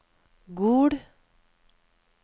Gol